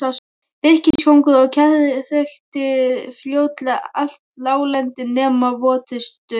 Birkiskógur og kjarr þakti fljótlega allt láglendi nema votustu mýrar.